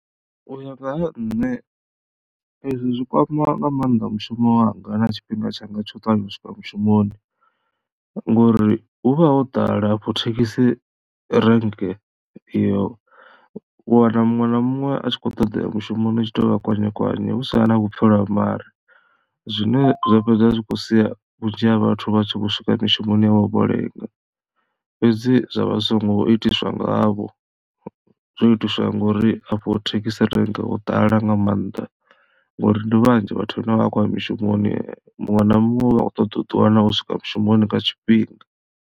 U ya nga ha nṋe ezwi zwi kwama nga maanḓa mushumo wanga na tshifhinga tshanga tsha u ṱavhanya u swika mushumoni ngori hu vha ho ḓala hafho thekhisi rank iyo u wana muṅwe na muṅwe a tshi kho ṱoḓa uya mushumoni hu tshi touvha kwanyekwanye hu sina na vhupfhelo ha mare. Zwine zwa fhedza zwi kho sia vhunzhi ha vhathu vha tshi vho swika mishumoni yavho lenga fhedzi zwa vha zwi songo itiswa ngavho zwo itiswa ngori afho thekhisi rank ho ḓala nga maanḓa ngori ndi vhanzhi vhathu vhane vha vha vha khou ya mishumoni muṅwe na muṅwe u vha kho ṱoḓa uḓi wana u swika mushumoni nga tshifhinga.